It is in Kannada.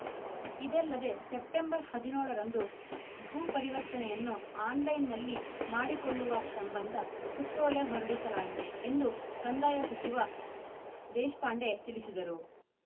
ಇದಲ್ಲದೇ ಸೆಪ್ಟೆಂಬರ್ ಹದಿನೇಳರಂದು ಭೂ ಪರಿವರ್ತನೆಯನ್ನು ಆನ್‌ಲೈನ್‌ನಲ್ಲಿ ಮಾಡಿಕೊಳ್ಳುವ ಸಂಬಂಧ ಸುತ್ತೋಲೆ ಹೊರಡಿಸಲಾಗಿದೆ ಎಂದು ಕಂದಾಯ ಸಚಿವ ದೇಶಪಾಂಡೆ ತಿಳಿಸಿದರು